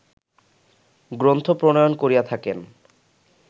গ্রন্থ প্রণয়ন করিয়া থাকেন